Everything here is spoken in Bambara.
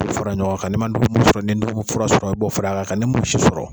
O fara ɲɔgɔn ka, ne ma dɔgɔmuso sɔrɔ, ni ye n dɔgɔ mun fura sɔrɔ i b'o fara ka n ka ne mun si sɔrɔ.